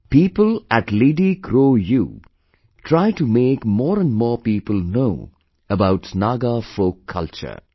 People at LidiCroU try to make more and more people know about Naga folkculture